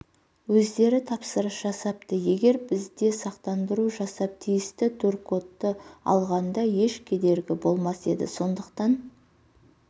өздері тапсырыс жасапты егер бізде сақтандыру жасап тиісті туркодты алғанда еш кедергі болмас еді сондықтан